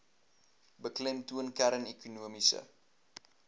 beklemtoon kern ekonomiese